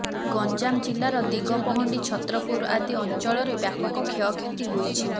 ଗଞ୍ଜାମ ଜିଲ୍ଲାର ଦିଗପହଣ୍ଡି ଛତ୍ରପୁର ଆଦି ଅଂଚଳରେ ବ୍ୟାପକ କ୍ଷୟକ୍ଷତି ହୋଇଛି